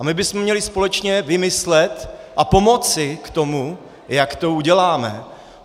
A my bychom měli společně vymyslet a pomoci k tomu, jak to uděláme.